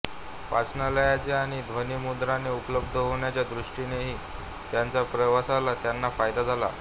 वाचनालये आणि ध्वनिमुद्रणे उपलब्ध होण्याच्या दृष्टीनेही त्यांच्या प्रवासाचा त्यांना फायदा झाला